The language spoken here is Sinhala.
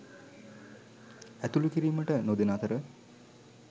ඇතුළු කිරීමට නොදෙන අතර